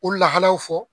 O lahalaw fɔ